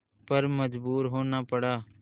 पर मजबूर होना पड़ा